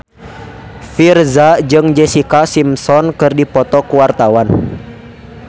Virzha jeung Jessica Simpson keur dipoto ku wartawan